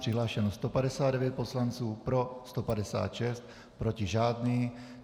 Přihlášeno 159 poslanců, pro 156, proti žádný.